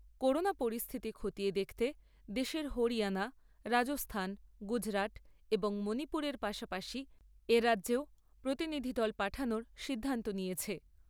Corona পরিস্থিতি খতিয়ে দেখতে, দেশের হরিয়ানা, রাজস্থান, গুজরাট এবং মণিপুরের পাশাপাশি এ রাজ্যেও প্রতিনিধি দল পাঠানোর সিদ্ধান্ত নিয়েছে।